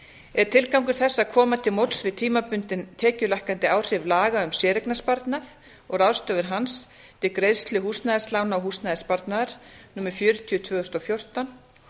er tilgangur þess að koma til móts við tímabundinn tekjulækkandi áhrif laga um séreignarsparnað og ráðstöfun hans til greiðslu húsnæðislána og húsnæðissparnaðar númer fjörutíu tvö þúsund og fjórtán